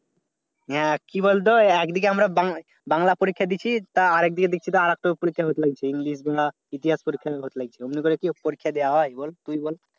হ্যাঁ কি বলতো? একদিকে আমরা বাংলা বাংলা পরীক্ষা দিচ্ছি তা আর একদিকে দেখছি যে আর একটা পরীক্ষা হচ্ছে। english বা ইতিহাস পরীক্ষা হচ্ছে। কি পরীক্ষা দেয়া হয় বল তুই ই বল?